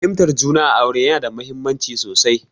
Fahimtar juna a aure yana da mahimmanci sosai.